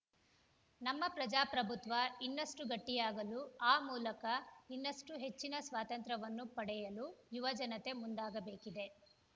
ನಮ್ಮ ಪ್ರಜಾಪ್ರಭುತ್ವ ಇನ್ನಷ್ಟುಗಟ್ಟಿಯಾಗಲು ಆ ಮೂಲಕ ಇನ್ನಷ್ಟುಹೆಚ್ಚಿನ ಸ್ವಾತಂತ್ರ್ಯವನ್ನು ಪಡೆಯಲು ಯುವ ಜನತೆ ಮುಂದಾಗಬೇಕಿದೆ